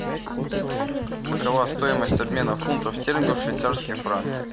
какова стоимость обмена фунтов стерлингов в швейцарские франки